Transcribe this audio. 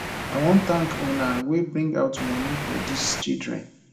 i wan thank una wey bring out money for dis children